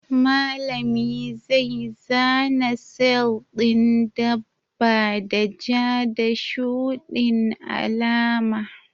Malami zai zana sel ɗin dabba da ja da shuɗin alama.